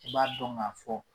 I b'a dɔn k'a fɔ